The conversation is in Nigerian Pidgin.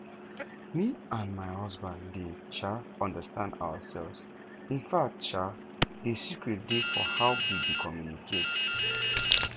me and my husband dey um understand ourselves infact um the secret dey for how we dey communicate